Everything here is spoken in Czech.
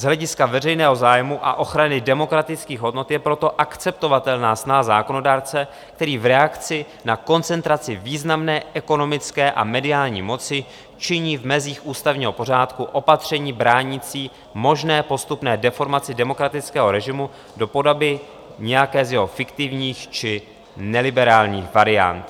Z hlediska veřejného zájmu a ochrany demokratických hodnot je proto akceptovatelná snaha zákonodárce, který v reakci na koncentraci významné ekonomické a mediální moci činí v mezích ústavního pořádku opatření bránící možné postupné deformaci demokratického režimu do podoby nějaké z jeho fiktivních či neliberálních variant.